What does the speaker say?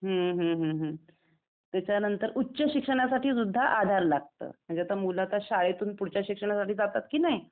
हम्म हम्म हम्म. त्याच्या नंतर उच्च शिक्षणासाठी सुद्धा आधार लागतं. आता म्हणजे मूल आता शाळेतुन पुढच्या शिक्षणासाठी जातात कि नई?